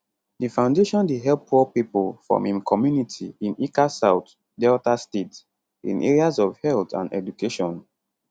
di foundation dey help poor pipo from im community in ika south delta state in areas of health and education